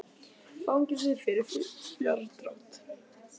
Fangelsi fyrir fjárdrátt